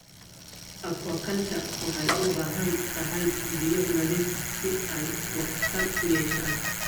Aquaculture waxay u baahan tahay biyo nadiif ah si ay waxtar u yeeshaan.